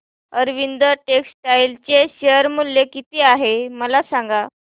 Arvind textile चे share मूल्य किती आहे मला सांगा